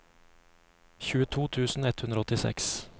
tjueto tusen ett hundre og åttiseks